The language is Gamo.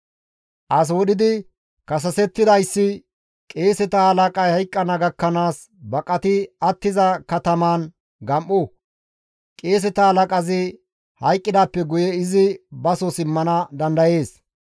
As wodhidi kasasetidayssi qeeseta halaqay hayqqana gakkanaas baqati attiza katamaan gam7o; qeeseta halaqazi hayqqidaappe guye izi baso simmana dandayees.